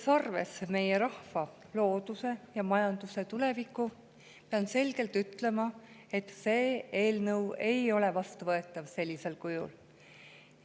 Kui võtta arvesse meie rahva, looduse ja majanduse tulevikku, pean selgelt ütlema, et see eelnõu ei ole sellisel kujul vastuvõetav.